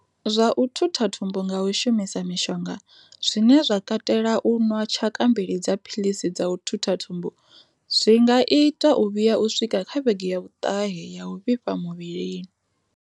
Zwa u thutha thumbu nga u shumisa mishonga, zwine zwa katela u nwa tshaka mbili dza philisi dza u thutha thumbu, zwi nga itwa u vhuya u swika kha vhege ya vhuṱahe ya u vhifha muvhilini.